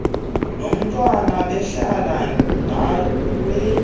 nomntwana behlala ndaweni